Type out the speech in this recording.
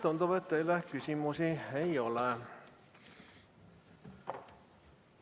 Tundub, et teile küsimusi ei ole.